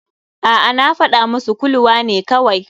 A'a, na fadawa masu kuluwa ne kawai.